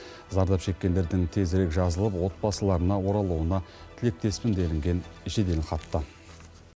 зардап шеккендердің тезірек жазылып отбасыларына оралуына тілектеспін делінген жеделхатта